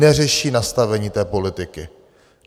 Neřeší nastavení té politiky.